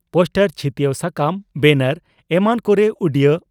poster ᱪᱷᱤᱛᱭᱟᱹᱣ ᱥᱟᱠᱟᱢ ᱵᱮᱱᱟᱨ ᱮᱢᱟᱱ ᱠᱚᱨᱮ ᱩᱰᱤᱭᱟᱹ